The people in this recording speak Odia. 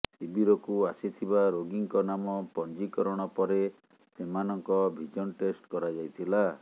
ଶିବିରକୁ ଆସିଥିବା ରୋଗୀଙ୍କ ନାମ ପଞ୍ଜିକରଣ ପରେ ସେମାନଙ୍କ ଭିଜନ ଟେଷ୍ଟ କରାଯାଇଥିଲା